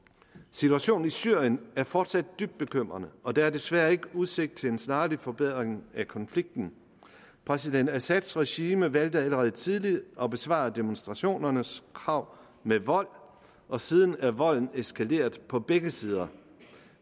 situationen i syrien er fortsat dybt bekymrende og der er desværre ikke udsigt til en snarlig forbedring af konflikten præsident assads regime valgte allerede tidligt at besvare demonstrationernes krav med vold og siden er volden eskaleret på begge sider